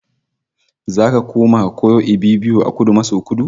Zaka koma ka koyo Ibibio a Kudu maso Kudu